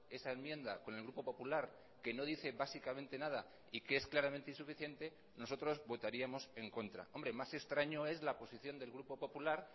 esa enmienda con el grupo popular que no dice básicamente nada y que es claramente insuficiente nosotros votaríamos en contra hombre más extraño es la posición del grupo popular